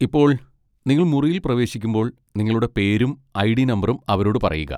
ഇപ്പോൾ, നിങ്ങൾ മുറിയിൽ പ്രവേശിക്കുമ്പോൾ നിങ്ങളുടെ പേരും ഐ.ഡി. നമ്പറും അവരോട് പറയുക.